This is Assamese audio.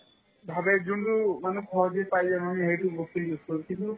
ভাবে যোনতো মানে সহজে পাই দেখুন সেইটো বস্তু use কৰো কিন্তু